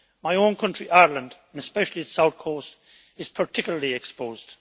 My own country, Ireland, and especially the south coast, is particularly exposed.